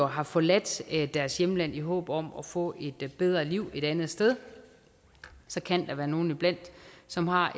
har forladt deres hjemland i håb om at få et bedre liv eller andet sted så kan der være nogle iblandt som har